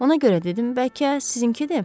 Ona görə dedim, bəlkə sizinkidir?